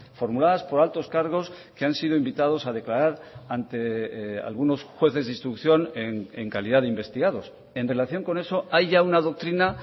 formuladas por altos cargos que han sido invitados a declarar ante algunos jueces de instrucción en calidad de investigados en relación con eso hay ya una doctrina